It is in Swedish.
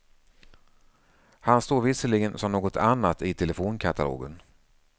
Han står visserligen som något annat i telefonkatalogen.